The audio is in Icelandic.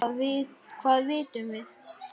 Hvað vitum við?